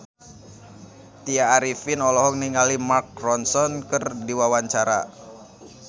Tya Arifin olohok ningali Mark Ronson keur diwawancara